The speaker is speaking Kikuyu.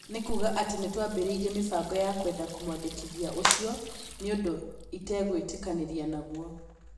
No kuga atĩ nĩtwambĩrĩirie mĩbango ya kwenda kũmwandĩkithia ũcio nĩ ũndũ itegwĩtĩkanĩria naguo'